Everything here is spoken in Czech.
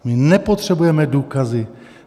My nepotřebujeme důkazy.